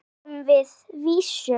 Nú fáum við vísu?